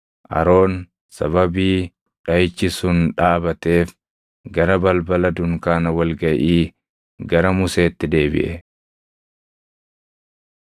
Aroon sababii dhaʼichi sun dhaabateef gara balbala dunkaana wal gaʼii gara Museetti deebiʼe.